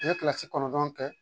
U ye kɔnɔntɔn kɛ